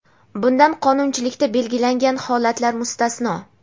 bundan qonunchilikda belgilangan holatlar mustasno.